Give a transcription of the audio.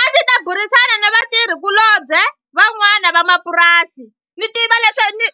A ndzi ta burisana na vatirhikulobye van'wana va mapurasi ni tiva ni